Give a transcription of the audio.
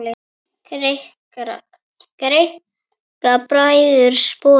Greikka bræður sporið.